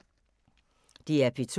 DR P2